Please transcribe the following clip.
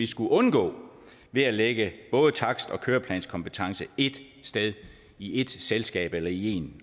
skulle undgå ved at lægge både takst og køreplanskompetence ét sted i ét selskab eller i én